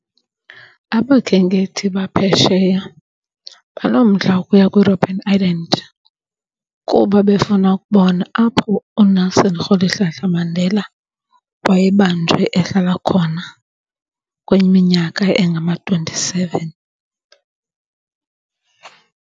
Abakhenkethi baphesheya banomdla wokuya kwiRobben Island kuba befuna ukubona apho uNelson Rholihlahla Mandela wayebanjwe ehlala khona kwinyiminyaka engama-twenty seven.